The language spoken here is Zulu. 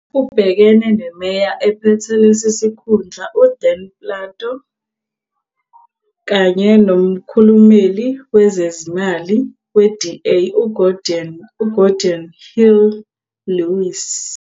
Ubhekene neMeya ephethe lesi sikhundla uDan Plato kanye nomkhulumeli wezezimali we-DA, uGeordin Hill-Lewis.